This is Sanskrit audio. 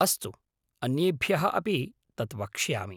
अस्तु, अन्येभ्यः अपि तत् वक्ष्यामि।